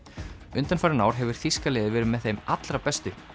undanfarin ár hefur þýska liðið verið með þeim allra bestu